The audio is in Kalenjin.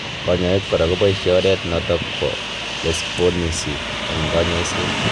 Kanyaik kora kopaishe oret notok po Lesponisy eng kanyaiset